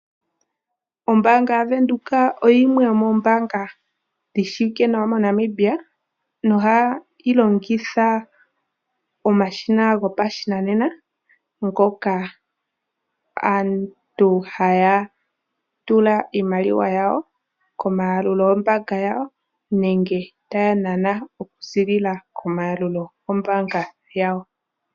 Ombaanga yaVenduka oyo yimwe yomoombanga dhi shiwike nawa moNamibia nohayi longitha omashina gopashinanena, ngoka aantu haya tula iimaliwa yawo, komayalululo gombaanga yawo nenge taya nana oku ziilila komayalulo gombaanga yawo.